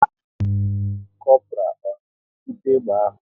Kopral ọ na-ebute egbe ahụ?